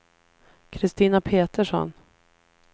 Christina Petersson